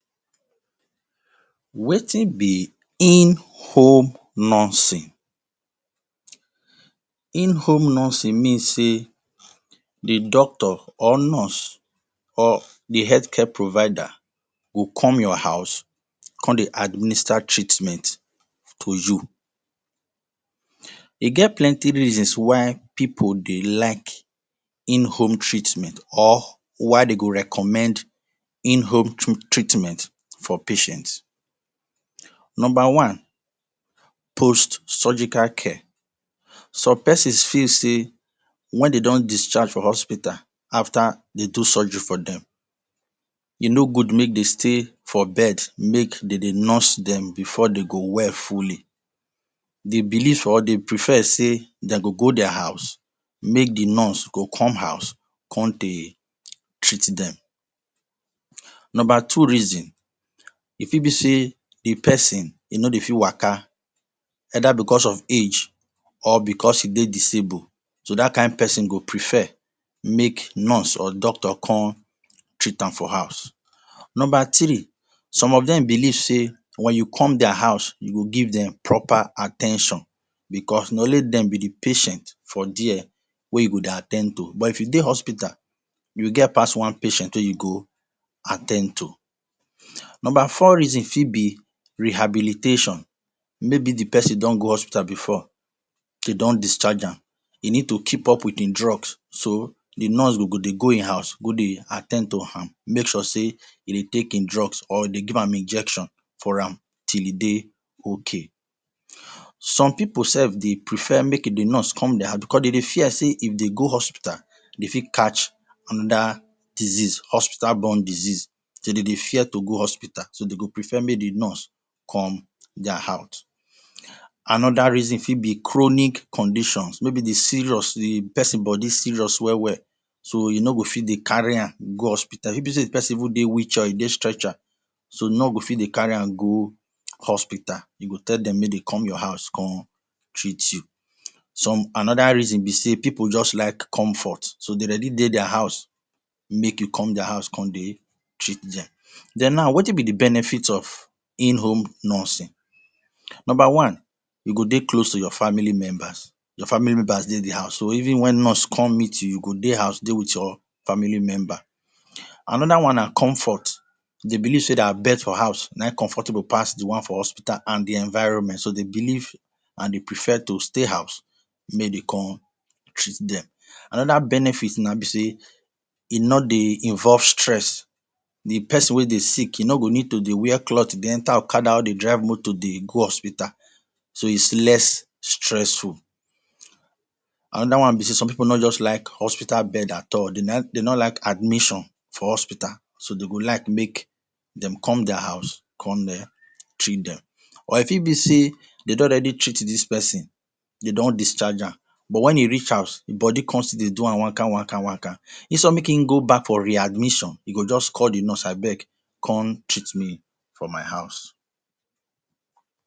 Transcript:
Wetin be in home nursing, in home nursing mean sey the doctor or nurse or the health care provider go come your house come de administer treatment to you. E get plenty reasons why people de like in home treatment or why dem go recommend in home treatment for patients. number one Postsurgical care some persons feel sey when dem don discharge from hospital after de do surgery for them e no good make de stay for bed make dem de nurse dem before dem go well fully they believe or dem prefer sey de go go their house make die nurse go come house come de treat them. Number two reason e fit be sey the person e no de fit waka either because of age or because e de disable so that kind person go prefer make nurse or doctor come treat am for house. Number tiree some of them believe sey when you come their house you go give them proper at ten tion because na only dem be the patient for their wey you go de at ten d to but if you de hospital you get pass one patient wey you go at ten d to. Number four reason fit be rehabilitation maybe the person don go hospital before de don discharge am e need to keep up with in drugs so the nurse go de go in house go de at ten d to amm make sure sey he de take in drugs or de give am injection for am till e dey ok. Some people self de prefer make the nurse come their house because dem de fear sey if dem go hospital de fit catch another disease hospital borne disease so dem de fear to go hospital so de go prefer make the nurse come their house. Anoda reason fit be chronic condition maybe the person body serious well well so you no go fit de carry am go hospital if to sey the person even dey wheel chair or e de stretcher so you no go fit de carry am go hospital you go tell dem make dem come your house come treat you. Another reason be sey people just like comfort so de ready dey their house make you come their house come de treat dem. Den now wetin be the benefit of in home nursing. Number one you go de close to your family members your family members de the house so even wen nurse come meet you you go de house de with your family members another one na comfort de believe sey their bed for house na in comfortable pass the one for hospital and the environment, So de believe and de prefer to stay house make de come treat dem. Another benefit now be sey e nor dey involve stress. Di person wey de sick e no go need to dey wear clothe de enter okada or de drive motor de go hospital so it is less stressful. Another one be sey some people no just like hospital bed at all dem no like admission for hospital so de go like make dem come their house come treat them or e fit be sey dem don already treat this person de don discharge am but wen e reach house body come still dey do am one kind one kind one kind instead make e go back for readmission e go just call the nurse abeg come treat me for my house.